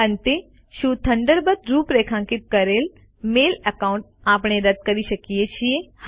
અંતે શું થન્ડરબર્ડ રૂપરેખાંકિત કરેલ મેલ એકાઉન્ટ આપણે રદ કરી શકીએ છીએ